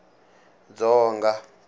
dzonga